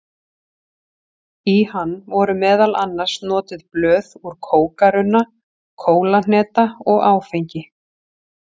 Í hann voru meðal annars notuð blöð úr kókarunna, kólahneta og áfengi.